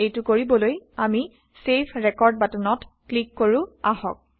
এইটো কৰিবলৈ আমি চেভ ৰেকৰ্ড বাটনত ক্লিক কাৰো আহক